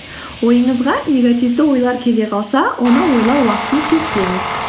ойыңызға негативті ойлар келе қалса оны ойлау уақытын шектеңіз